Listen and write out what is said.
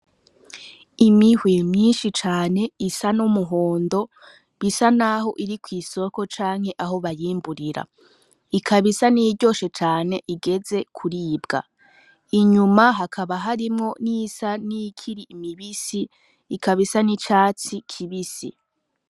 Imihwi myinshi cane isa n'umuhondo bisa naho iri kw'isoko canke aho bayimburira ikaba isa n'iyiryoshe cane igeze kuribwa inyuma hakaba harimwo n'isa n'ikiri imibisi ikabisa n'icatsi kibisi.